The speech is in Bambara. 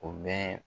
O bɛ